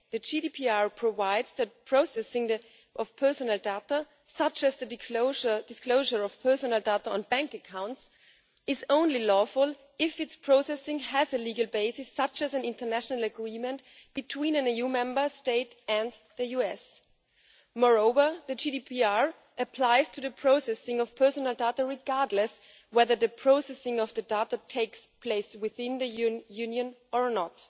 The GDPR provides that processing of personal data, such as the disclosure of personal data on bank accounts, is only lawful if its processing has a legal basis such as an international agreement between an EU Member State and the US. Moreover, the GDPR applies to the processing of personal data regardless of whether the processing of the data takes place within the European Union or not.